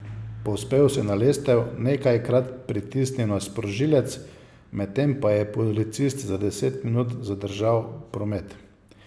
Povzpel se je na lestev, nekajkrat pritisnil na sprožilec, medtem pa je policist za deset minut zadržal promet.